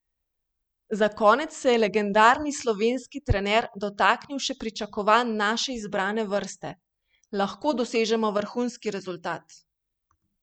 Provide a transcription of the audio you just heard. Za konec se je legendarni slovenski trener dotaknil še pričakovanj naše izbrane vrste: "Lahko dosežemo vrhunski rezultat.